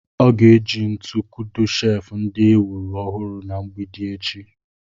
Ọ ga-eji ntu kudo sheefụ ndị e wuru ọhụrụ na mgbidi echi.